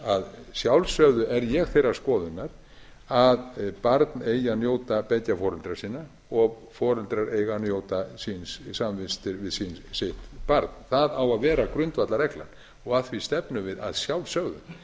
að sjálfsögðu er ég þeirrar skoðunar að barn eigi að njóta beggja foreldra sinna og foreldrar eigi að njóta samvista við sitt barn það á að vera grundvallarreglan og að því stefnum við að sjálfsögðu